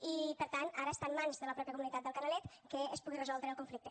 i per tant ara està en mans de la mateixa comunitat del canalet que es pugui resoldre el conflicte